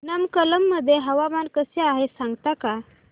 नमक्कल मध्ये हवामान कसे आहे सांगता का